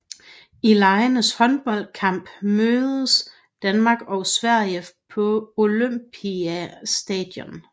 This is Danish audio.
I legenes håndboldskamp mødtes Danmark og Sverige på Olympiastadion